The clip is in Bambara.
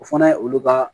O fana ye olu ka